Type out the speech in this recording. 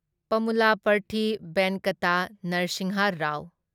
Pamulaparthi Venkata Narasimha Rao